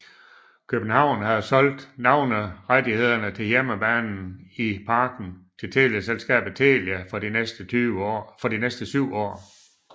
København havde solgt navnerettighederne til hjemmebanen i Parken til teleselskabet Telia for de næste syv år